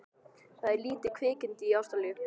Það er til lítið kvikindi í Ástralíu.